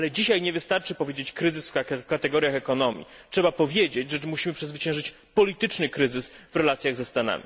Ale dzisiaj nie wystarczy mówić o kryzysie w kategoriach ekonomii, trzeba powiedzieć, że musimy przezwyciężyć polityczny kryzys w relacjach z USA.